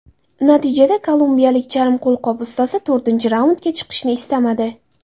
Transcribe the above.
Natijada, kolumbiyalik charm qo‘lqop ustasi to‘rtinchi raundga chiqishni istamadi.